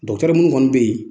minnu kɔni bɛ yen